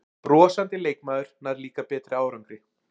Brosandi leikmaður nær líka betri árangri